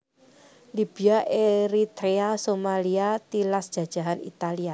Libya Eritrea Somalia tilas jajahan Italia